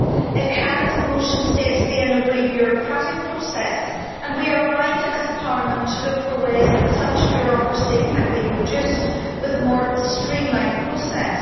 It can, as the motion states, be an overly bureaucratic process and we are right as a Parliament to look for ways that such bureaucracy can be reduced with a more streamlined process.